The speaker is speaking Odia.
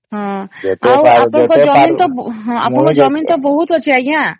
ହଁ ଆଉ ଅପଣଂକର ଜମି ତ ଅପଣଂକର ଜମି ତ ବହୁତ ଅଛି ଆଂଜ୍ଞା